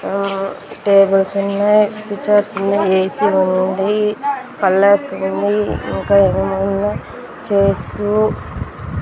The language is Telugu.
ఆ టేబుల్స్ ఉన్నాయ్ పిచ్చర్స్ ఉన్నాయి ఏ_సీ ఉంది కలర్స్ ఉంది ఇంకా ఏమేమో ఉన్నాయ్ చేర్సు --